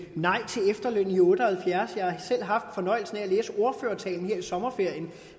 nej til efterlønnen i nitten otte og halvfjerds jeg har fornøjelsen af at læse ordførertalen her i sommerferien